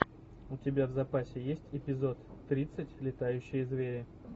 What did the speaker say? у тебя в запасе есть эпизод тридцать летающие звери